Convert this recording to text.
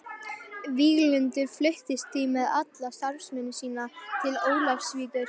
Víglundur fluttist því með alla starfsemi sína til Ólafsvíkur.